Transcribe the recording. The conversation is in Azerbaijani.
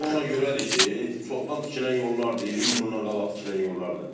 Sıxlıq ona görədir ki, çoxdan tikilən yollardır, 20 il bundan qabaq tikilən yollardır.